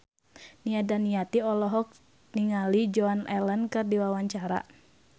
Nia Daniati olohok ningali Joan Allen keur diwawancara